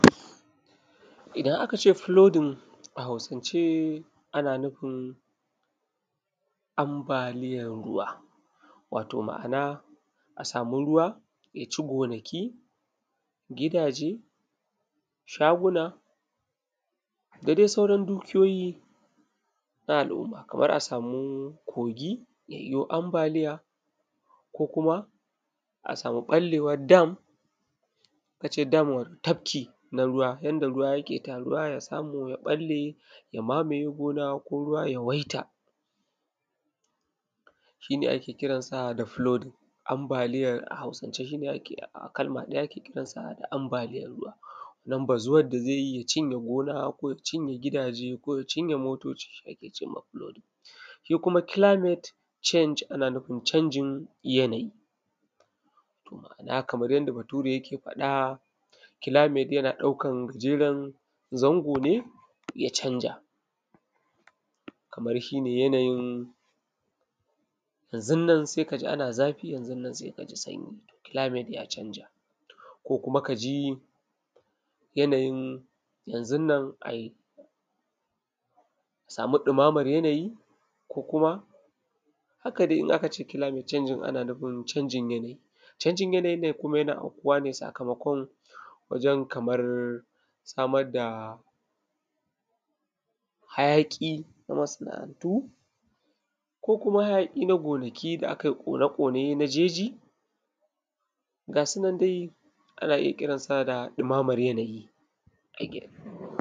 idan a kace flooding a hausance ana nuufin ambaliyan ruwa wato ma'ana a samu ruwa ya ci gonaki, gidaje shaguna da dai sauran dukiyoyi na al’umma kamar a samu kogi ja ji ambalia ko kuma a samu ɓallewan dam in aka ce dam tafki na ruwa yanda ruwa jake taruwa ya samu ya ɓalle ya mamaye gona ko ruwa ya yawaita shine ake kiransa da flooding ambaliya a hausance shine kalma ɗaya da ake kiransa ambaliyan ruwa don bazuwan da zai yi ya cinje gona ko ja cinye gidaje ko ya cinye motoci shi ake cema flooding ko kuma climate change ana nufin canjin yanayi ma'ana kaman yanda bature ya ke faɗa climate yana ɗaukan jerin zango: ne ya canza kaman shine yanayin yanzun nan sai kaji ana zafi yanzun nan sai ka ji sanji climate ja canza ko kuma ka ji yanayin janzun nan ai samu ɗumaman yanayi ko kuma haka dai in aka ce climate canjin ana nufin canjin yanayi canjin yanayin nan kuma yana aukuwane sakamakon wajen kamar samar da hajaƙi na masana:'antu ko kuma haayaƙi na gonaki da aka ƙone ƙone nake ji ga sunan dai ana iya kiransa da ɗumaman yanayi